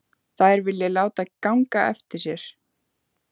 Þær vilja láta ganga eftir sér.